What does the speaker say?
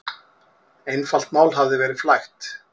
Einfalt mál hafi verið flækt.